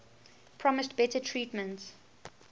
promised better treatment